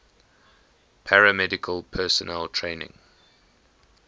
paramedical personnel training